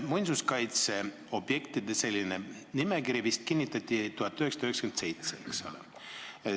Muinsuskaitseobjektide nimekiri kinnitati vist 1997, eks ole.